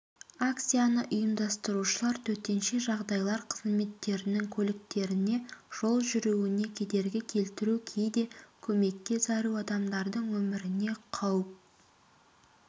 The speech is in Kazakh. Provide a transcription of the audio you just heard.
акцияны ұйымдастырушылар төтенше жағдайлар қызметтерінің көліктеріне жол жүруіне кедергі келдіру кейде көмекке зәру адамдардың өміріне қауіп